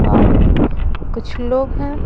और कुछ लोग हैं ।